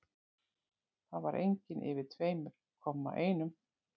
Það var engin yfir tveimur-komma-einum.